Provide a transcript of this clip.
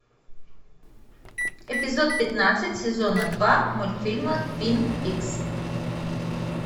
эпизод пятнадцать сезона два мультфильма твин пикс